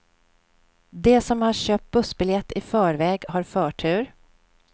De som har köpt bussbiljett i förväg har förtur.